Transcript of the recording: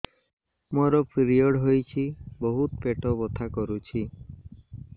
ମୋର ପିରିଅଡ଼ ହୋଇଛି ବହୁତ ପେଟ ବଥା କରୁଛି